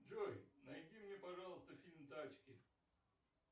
джой найди мне пожалуйста фильм тачки